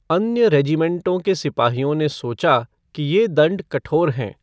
अन्य रेजीमेंटों के सिपाहियों ने सोचा कि ये दंड कठोर हैं।